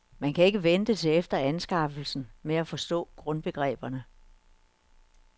Man kan ikke vente til efter anskaffelsen med at forstå grundbegreberne.